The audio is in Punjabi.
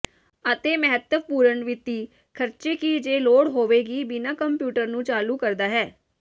ਅਤੇ ਮਹੱਤਵਪੂਰਨ ਵਿੱਤੀ ਖਰਚੇ ਕਿ ਜੇ ਲੋੜ ਹੋਵੇਗੀ ਬਿਨਾ ਕੰਪਿਊਟਰ ਨੂੰ ਚਾਲੂ ਕਰਦਾ ਹੈ